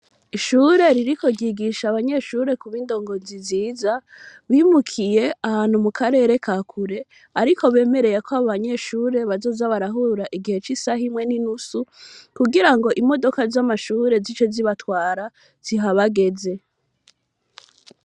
Ishure ririko ryigisha abanyeshure kuba indongozi nziza, bimukiye ahantu mu karere ka kure ariko bemereye ko abo banyeshure bazoza barahura igihe c'isaha imwe n'inusu kugira ngo imodoka z'amashure zice zibatwara zihabagaze.